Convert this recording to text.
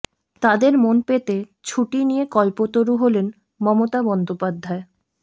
তাদের মন পেতে ছুটি নিয়ে কল্পতরু হলেন মমতা বন্দোপাধ্যায়